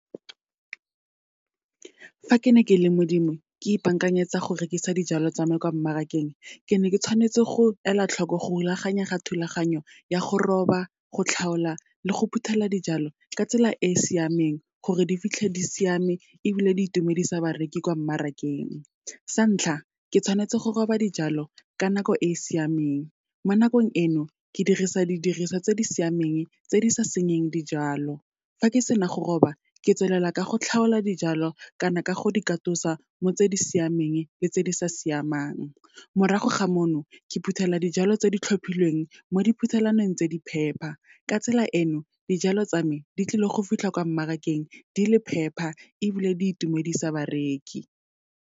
Fa ke ne ke le Modimo, ke ipaakanyetsa go rekisa dijalo tsa me kwa mmarakeng, ke ne ke tshwanetse go ela tlhoko go rulaganya ga thulaganyo ya go roba, go tlhaola le go phuthela dijalo, ka tsela e e siameng, gore di fitlhe di siame, ebile di itumedisa bareki kwa mmarakeng. Sa ntlha, ke tshwanetse go roba dijalo ka nako e siameng, mo nakong eno, ke dirisa di diriswa tse di siameng tse di sa senyeng dijalo. Fa ke sena go roba, ke tswelela ka go tlhaola dijalo, kana ka go di katosa mo tse di siameng, le tse di sa siamang. Morago ga mono, ke phuthela dijalo tse di tlhophilweng, mo diphuthelwaneng tse di phepa. Ka tsela eno, dijalo tsa me, di tlile go fitlha kwa mmarakeng di le phepa, ebile di itumedisa bareki.